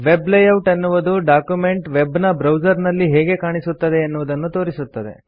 web layout ಎನ್ನುವುದು document web ನ browser ನಲ್ಲಿ ಹೇಗೆ ಕಾಣಿಸುತ್ತದೆ ಎನ್ನುವುದನ್ನು ತೋರಿಸುತ್ತದೆ